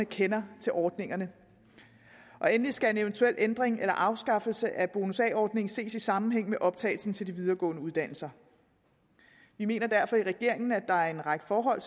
kender til ordningerne endelig skal en eventuel ændring eller afskaffelse af bonus a ordningen ses i sammenhæng med optagelsen til de videregående uddannelser vi mener derfor i regeringen at der er en række forhold